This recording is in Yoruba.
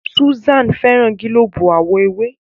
Susan féràn gilobu àwo ewé.